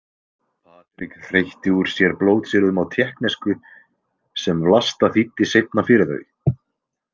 Patrik hreytti úr sér blótsyrðum á tékknesku sem Vlasta þýddi seinna fyrir þau.